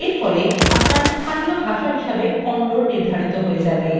এরফলে আপনার স্থানীয় ভাষা হিসাবে kannada নির্ধারিত হয়ে যাবে